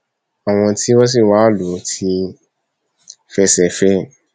àwọn tí wọn sì wáá lù ú ti fẹsẹ fẹ ẹ